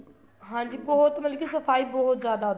ਹਾਂਜੀ ਬਹੁਤ ਮਤਲਬ ਕੀ ਸਫਾਈ ਬਹੁਤ ਜਿਆਦਾ